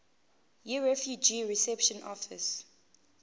yirefugee reception office